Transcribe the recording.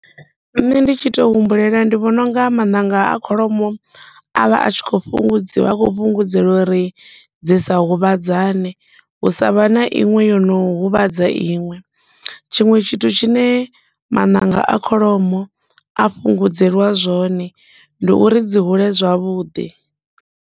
Nṋe ndi tshi to humbulela ndi vhona unga maṋanga a kholomo avha a tshi khou fhungudziwa, a khou fhungudzeliwa uri dzi sa huvhadzane, hu sa vhe na iṅwe ino huvhadza iṅwe, tshiṅwe tshithu tshine maṋaga a kholomo a fhungudzeliwa zwone, ndi uri dzi hule zwavhuḓi.